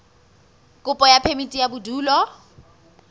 kopo ya phemiti ya bodulo